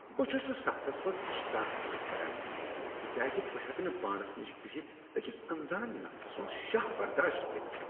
بہٕ چھس نہٕ سفرس منز اشتراک پسند کران تکیاز بہٕ ہیٚکہٕ نہٕ پانس نِش بِہِتھ اكِس انزان نفر سٖند شاہ برداشت کٔرتھ ۔